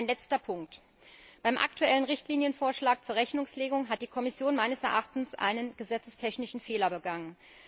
Ein letzter Punkt Beim aktuellen Richtlinienvorschlag zur Rechnungslegung hat die Kommission meines Erachtens einen gesetzestechnischen Fehler begangen.